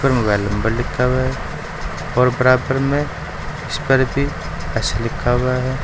ऊपर mobile number लिखा हुआ है और बराबर में लिखा हुआ है।